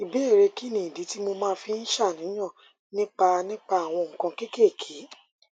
ìbéèrè kí nìdí tí mo fi máa ń ṣàníyàn nípa nípa àwọn nǹkan kéékèèké